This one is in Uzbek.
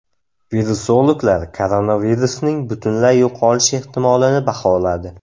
Virusologlar koronavirusning butunlay yo‘qolishi ehtimolini baholadi.